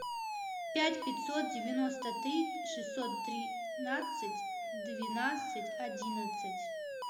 пять пятьсот девяносто три шестьсот тринадцать двенадцать одиннадцать